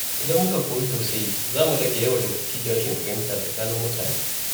Idan muka koyi tausayi, za mu rage yawan rikici da rashin fahimta tsakanin mutane.